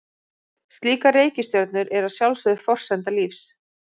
Slíkar reikistjörnur eru að sjálfsögðu forsenda lífs.